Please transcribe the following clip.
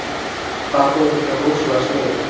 Það þótti þeim rosalega sniðugt.